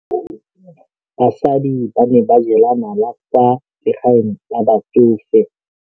Basadi ba ne ba jela nala kwaa legaeng la batsofe.